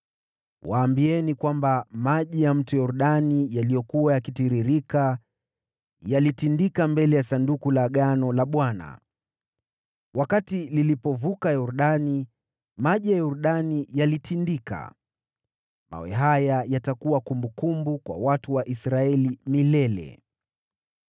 waambieni kwamba maji ya Mto Yordani yaliyokuwa yakitiririka yalitindika mbele ya Sanduku la Agano la Bwana . Wakati lilipovuka Yordani, maji ya Yordani yalitindika. Mawe haya yatakuwa kumbukumbu kwa watu wa Israeli milele.”